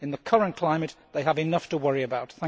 In the current climate, they have enough to worry about.